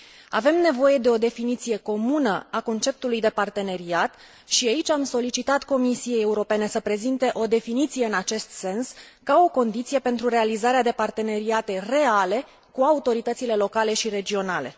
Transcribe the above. Avem nevoie de o definiție comună a conceptului de parteneriat și aici am solicitat Comisiei Europene să prezinte o definiție în acest sens, ca o condiție pentru realizarea de parteneriate reale cu autoritățile locale și regionale.